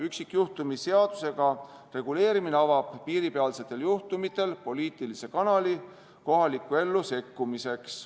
Üksikjuhtumi seadusega reguleerimine avab piiripealsetel juhtudel poliitilise kanali kohalikku ellu sekkumiseks.